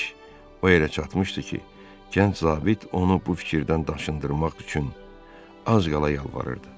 İş o yerə çatmışdı ki, gənc zabit onu bu fikirdən daşındırmaq üçün az qala yalvarırdı.